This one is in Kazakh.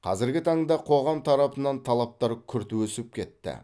қазіргі таңда қоғам тарапынан талаптар күрт өсіп кетті